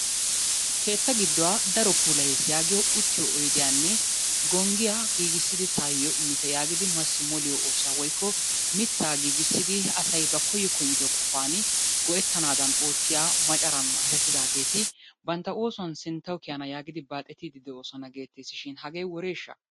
Keetta gidduwa daro puulayes yaagiyo uttiyo oyidiyanne gonggiya giigissidi taayyo immite yaagidi massi moliyo oosuwa woyikko mittaa giigissidi asay ba koyyo koyyido qofaani go'ettanaadan oottiya macaran naqaashettidaageeti bantta oosuwan sinttawu kiyana yaagidi baaxetiiddi de'oosona geetteesishin hagee woreeshsha?